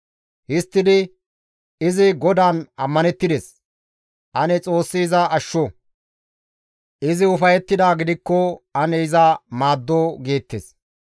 Histtidi, «Izi GODAAN ammanettides; ane Xoossi iza ashsho; izi ufayettidaa gidikko ane iza maaddo» geettes.